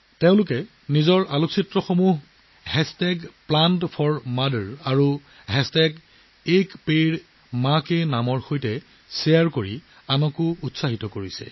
তেওঁলোকে তেওঁলোকৰ photo plant4mother আৰু a ped man k nam ৰ সৈতে শ্বেয়াৰ কৰি আনক প্ৰেৰণা যোগাইছে